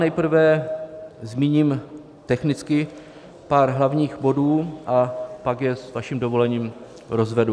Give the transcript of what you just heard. Nejprve zmíním technicky pár hlavních bodů a pak je s vaším dovolením rozvedu.